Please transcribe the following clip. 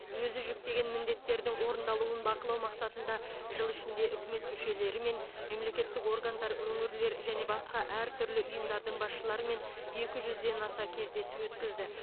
өзі жүктеген міндеттердің орындалуын бақылау мақсатында жыл ішінде үкімет мүшелерімен мемлекеттік органдар өңірлер және басқа әртүрлі ұйымдардың басшыларымен екі жүзден аса кездесу өткізді